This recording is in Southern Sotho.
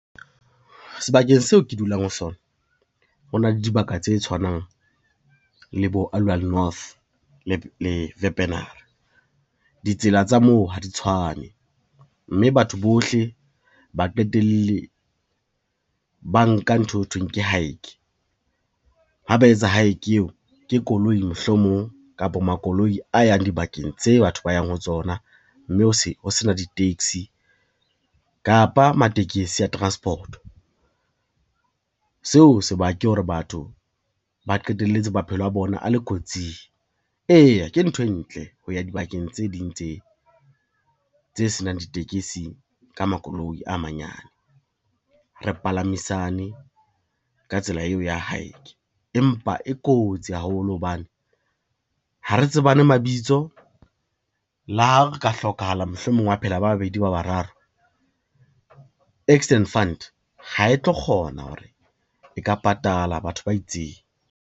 Sebakeng seo ke dulang ho sona, ho na le dibaka tse tshwanang le bo Aliwal North le . Ditsela tsa moo ha di tshwane, mme batho bohle ba qetelle ba nka ntho eo thweng ke hike, ha ba etsa hike eo ke koloi mohlomong kapa makoloi a yang dibakeng tse batho ba yang ho tsona, mme ho sena di-taxi kapa matekesi a transport-o. Seo sebaka hore batho ba qetelletse maphelo a bona a le kotsing, eya ke ntho e ntle ho ya dibakeng tse ding tse senang ditekesi ka makoloi a manyane, re palamisane ka tsela eo ya hike, empa e kotsi haholo hobane ha re tsebane mabitso le ha re ka hlokahala mohlomong wa phela ba babedi ba bararo, accident fund ha e tlo kgona hore e ka patala batho ba itseng.